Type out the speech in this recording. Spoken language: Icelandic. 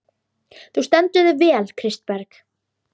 Þú stendur þig vel, Kristberg!